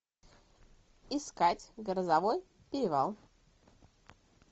искать грозовой перевал